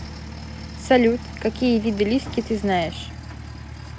салют какие виды лиски ты знаешь